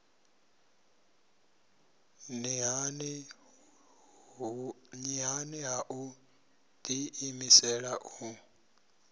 nṱhani ha u ḓiimisela u